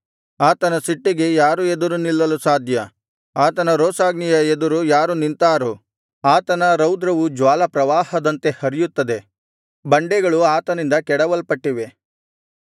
ಆತನ ಸಿಟ್ಟಿಗೆ ಯಾರು ಎದುರು ನಿಲ್ಲಲು ಸಾಧ್ಯ ಆತನ ರೋಷಾಗ್ನಿಯ ಎದುರು ಯಾರು ನಿಂತಾರು ಆತನ ರೌದ್ರವು ಜ್ವಾಲಾಪ್ರವಾಹದಂತೆ ಹರಿಯುತ್ತದೆ ಬಂಡೆಗಳು ಆತನಿಂದ ಕೆಡವಲ್ಪಟ್ಟಿವೆ